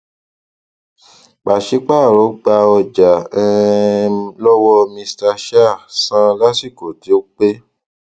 pàṣípààrọ gba ọjà um lọwọ mr shah san lásìkò tó pé